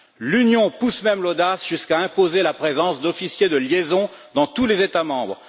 L'Union pousse même l'audace jusqu'à imposer la présence d'officiers de liaison dans tous les États membres.